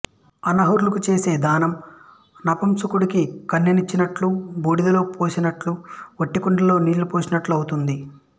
అనర్హులకు చేసే దానం నపుంసకుడికి కన్యను ఇచ్చినట్లు బూడిదలో నెయ్యిపోసినట్లు ఓటికుండలో నీళ్ళుపోసినట్లు ఔతుంది